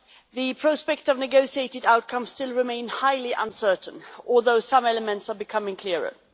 the prospects of a negotiated outcome still remain highly uncertain, although some elements are becoming clearer.